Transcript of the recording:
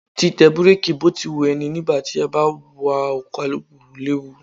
Títẹ búrákì bó ti wu ẹni nígbà tí a bá wa ọkọ̀ alùpùpù léwu.